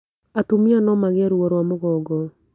Atumia no magĩe ruo rwa mũgongo